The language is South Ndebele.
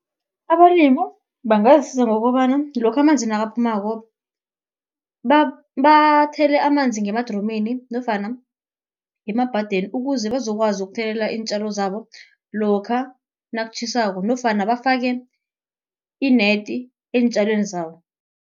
Abalimu bangazisiza ngokobana lokha amanzi nakaphumako, bathele amanzi ngemadromini nofana ngemabhadeni, ukuze bazokwazi ukuthelelela iintjalo zabo lokha nakutjhisako nofana bafake ineti eentjalweni zabo.